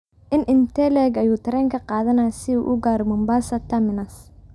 intee in le'eg ayuu tareenku qaadanayaa si uu u gaadho Mombasa terminus